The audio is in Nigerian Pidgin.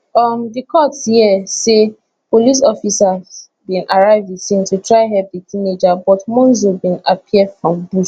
um di court hear say police officers bin arrive di scene to try help di teenager but monzo bin appear from bush